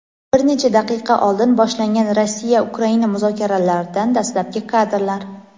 Bir necha daqiqa oldin boshlangan Rossiya-Ukraina muzokaralaridan dastlabki kadrlar.